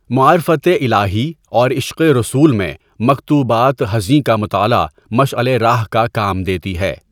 معرفتِ الٰہی اور عشقِ رسول میں مکتوبات حزیںؔ کا مطالعہ مشعل ِ راہ کا کام دیتی ہے.